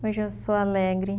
Hoje eu sou alegre.